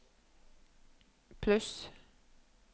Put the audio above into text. pluss